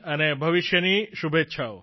અને ભવિષ્યની શુભેચ્છાઓ